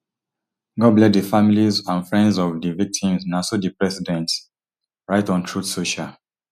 god bless di families and friends of di victims na so di president write on truth social